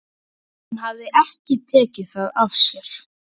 Hún hafði ekki tekið það af sér.